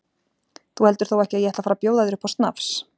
Þú heldur þó ekki að ég ætli að fara að bjóða þér upp á snafs?